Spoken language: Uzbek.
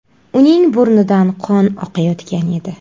Uning burnidan qon oqayotgan edi.